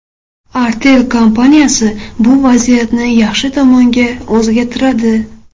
Artel kompaniyasi bu vaziyatni yaxshi tomonga o‘zgartiradi!